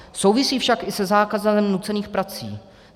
Souvisí však i se zákazem nucených prací.